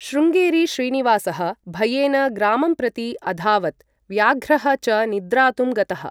शृंगेरी श्रीनिवासः भयेन ग्रामं प्रति अधावत् व्याघ्रः च निद्रातुं गतः।